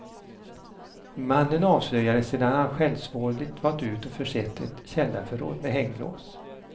Mannen avslöjades sedan han självsvåldigt valt ut och försett ett källarförråd med hänglås.